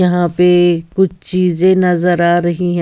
यहाँ पे ए कुछ चीजें नज़र आ रही हैं।